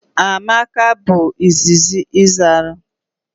Amaka bu izizi zalu.